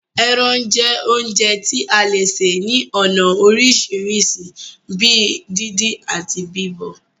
Ẹrán jẹ́ oúnjẹ tí a le sè ní ònà orisirisi bíi díndín, ati bíbọ̀